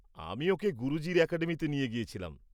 আমি ওকে গুরুজির অ্যাকাডেমিতে নিয়ে গেছিলাম।